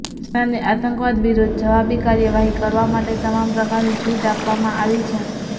સેનાને આતંકવાદ વિરૂદ્ધ જવાબી કાર્યવાહી કરવા માટે તમામ પ્રકારની છુટ આપવામાં આવી છે